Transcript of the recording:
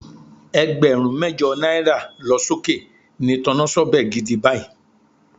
Ẹgbẹ̀rún mẹ́jọ náírà lọ sókè ni tọnásọ́bẹ̀ gidi báyìí